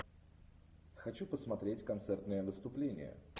хочу посмотреть концертное выступление